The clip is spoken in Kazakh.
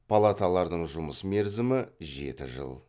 палаталардың жұмыс мерзімі жеті жыл